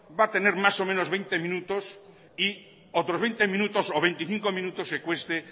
va a tener más o menos veinte minutos y otros veinte minutos o veinticinco minutos que cueste